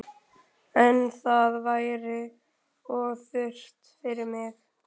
En það væri of þurrt fyrir mig